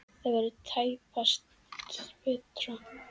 Það verður tæpast betra.